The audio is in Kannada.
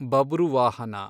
ಬಬ್ರುವಾಹನ